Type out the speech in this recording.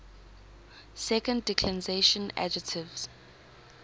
second declension adjectives